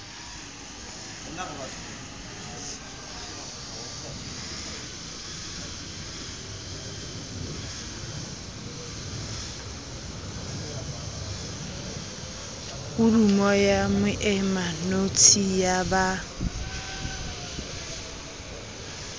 podumo ya moemanotshi ya ba